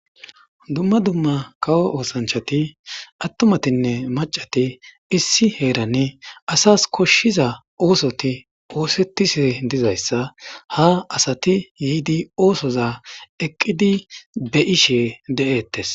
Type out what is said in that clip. dumma dumma kawo oosanchati attumatinne macati issi heerane asas koshshiza oosoti oosettishi dizayssa ha asati yiidi oosoza eqqidi be ishe de7eettes